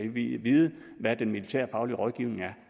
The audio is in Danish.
at vide hvad den militærfaglige rådgivning er